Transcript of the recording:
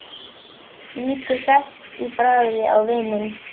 Lítur hress í bragði á vininn.